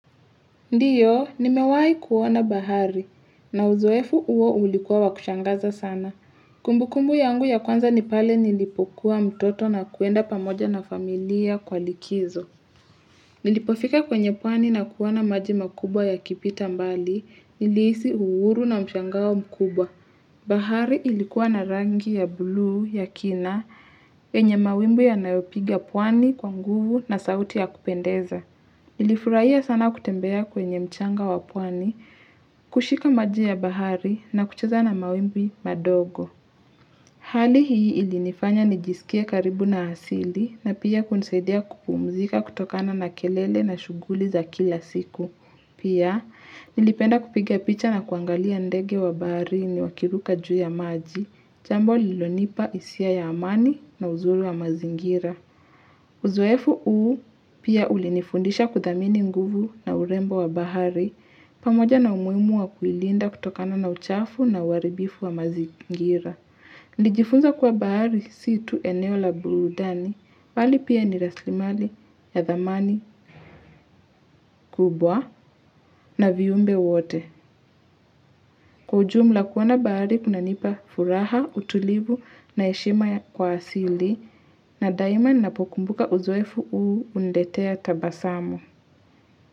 Ndiyo, nimewahi kuoana bahari, na uzoefu huo ulikuwa wakushangaza sana. Kumbu kumbu yangu ya kwanza nipale nilipokuwa mtoto na kuenda pamoja na familia kwa likizo. Nilipofika kwenye pwani na kuoana maji makubwa ya kipita mbali, nilihisi uhuru na mshangao mkubwa. Bahari ilikuwa na rangi ya buluu ya kina, yenye mawimbi ya nayopiga pwani kwa nguvu na sauti ya kupendeza. Nilifurahiya sana kutembea kwenye mchanga wapwani, kushika maji ya bahari na kucheza na mawimbi madogo. Hali hii ilinifanya nijisikie karibu na asili na pia kunisaidia kupumzika kutokana na kelele na shughuli za kila siku. Pia nilipenda kupiga picha na kuangalia ndege wa bahari ni wakiruka juu ya maji, chambo lilonipa hisia ya amani na uzuri wa mazingira. Uzoefu uu pia ulinifundisha kudhamini nguvu na urembo wa bahari pamoja na umuhimu wa kuilinda kutokana na uchafu na uharibifu wa mazingira. Nilijifunza kuwa bahari situ eneo la burudani pali pia nirasilimali ya dhamani kubwa na viumbe wote. Kwa ujumla kuoana bahari kuna nipa furaha, utulivu na heshima ya kwasili na daima ninapokumbuka uzoefu uu uniletea tabasamu.